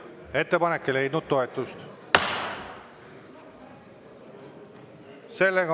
Ettepanek ei leidnud toetust.